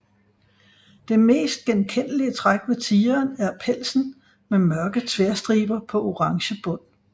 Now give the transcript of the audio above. Det mest genkendelige træk ved tigeren er pelsen med mørke tværstriber på orange bund